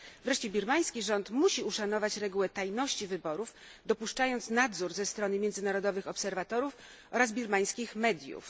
Wreszcie birmański rząd musi uszanować regułę tajności wyborów, dopuszczając nadzór ze strony międzynarodowych obserwatorów oraz birmańskich mediów.